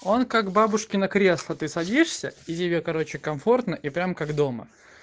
он как бабушкино кресло ты садишься или короче комфортное прям как дома